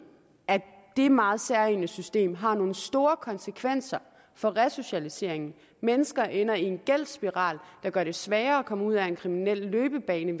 at det meget særegne system har nogle store konsekvenser for resocialiseringen mennesker ender i en gældsspiral der gør det sværere at komme ud af en kriminel løbebane